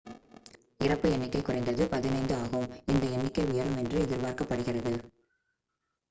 இறப்பு எண்ணிக்கை குறைந்தது 15 ஆகும் இந்த எண்ணிக்கை உயரும் என்று எதிர்பார்க்கப்படுகிறது